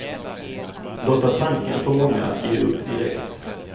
Blotta tanken får många att ge upp direkt.